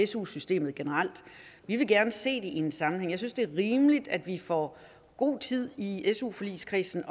su systemet generelt vi vil gerne se det i en sammenhæng jeg synes det er rimeligt at vi får god tid i su forligskredsen